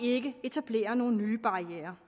ikke etablerer nogle nye barrierer